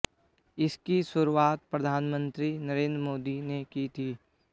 इसकी शुरुआत प्रधानमंत्री नरेंद्र मोदी ने की थी